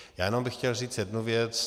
Já jenom bych chtěl říct jednu věc.